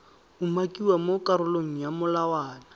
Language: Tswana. umakiwa mo karolong ya molawana